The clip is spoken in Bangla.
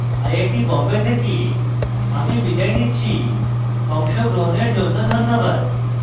আই আই টী বোম্বে থেকে আমি বিদায় নিচ্ছি অংশগ্রহনের জন্য ধন্যবাদ